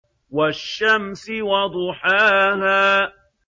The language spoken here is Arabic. وَالشَّمْسِ وَضُحَاهَا